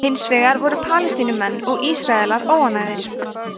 hins vegar voru margir palestínumenn og ísraelar óánægðir